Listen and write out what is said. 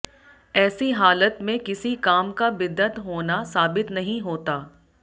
ऐसी हालत में किसी काम का बिदअत होना साबित नहीं होता